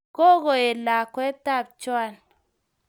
Kakoet lakwet ab Joan.